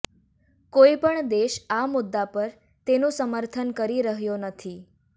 કોઈપણ દેશ આ મુદ્દા પર તેનું સમર્થન કરી રહ્યો નથી